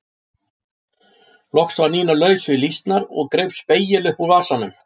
Loks var Nína laus við lýsnar og greip spegil upp úr vasanum.